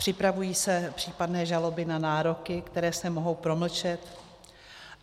Připravují se případné žaloby na nároky, které se mohou promlčet?